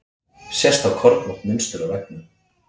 Sést þá kornótt mynstur á veggnum.